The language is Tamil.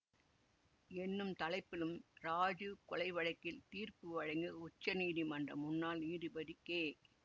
என்னும் தலைப்பிலும் இராஜீவ் கொலை வழக்கில் தீர்ப்பு வழங்கிய உச்சநீதிமன்ற முன்னாள் நீதிபதி கே